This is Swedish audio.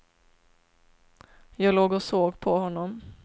Jag låg och såg på honom.